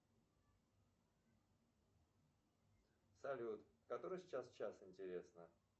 салют который сейчас час интересно